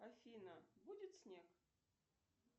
афина будет снег